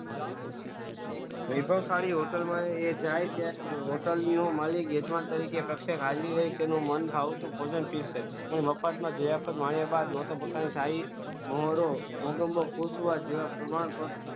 વૈભવ સાડી હોટલમાં એ જાય છે હોટલનો માલિક વેદવાન તરીકે તેનું મન ભવોથી મફતમાં જે જે આપે માર્યા બાદ સારી